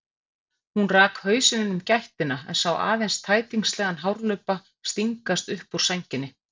Hún rak hausinn inn um gættina en sá aðeins tætingslegan hárlubba stingast upp úr sænginni.